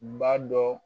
Ba dɔ